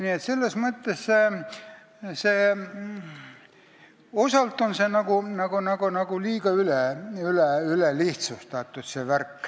Nii et selles mõttes on seda värki osalt ülelihtsustatud.